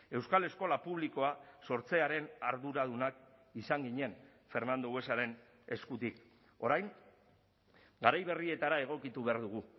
euskal eskola publikoa sortzearen arduradunak izan ginen fernando buesaren eskutik orain garai berrietara egokitu behar dugu